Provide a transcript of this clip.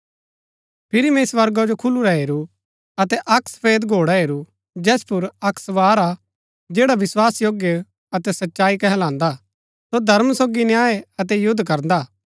फिरी मैंई स्वर्गा जो खुलुरा हेरू अतै अक्क सफेद घोड़ा हेरू जैस पुर अक्क सवार हा जैडा विस्वासयोग्य अतै सच्चाई कहलांदा सो धर्म सोगी न्याय अतै युद्ध करदा हा